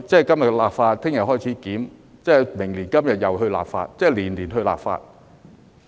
今天立法，明天開始檢討，明年今天又再立法，即是年年立法。